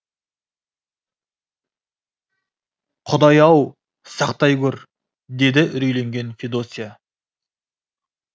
құдай ау сақтай көр деді үрейленген федосья